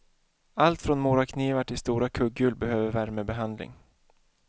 Allt från moraknivar till stora kugghjul behöver värmebehandling.